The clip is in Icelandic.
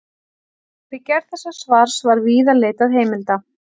Við gerð þessa svars var víða leitað heimilda.